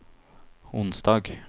onsdag